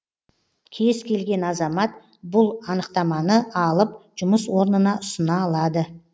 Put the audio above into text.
кез келген азамат бұл анықтаманы алып жұмыс орнына ұсына алады